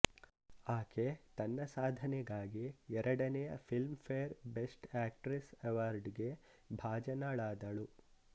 ಆಕೆ ತನ್ನ ಸಾಧನೆಗಾಗಿ ಎರಡನೆಯ Filmfare best actress award ಗೆ ಭಾಜನಳಾದಳು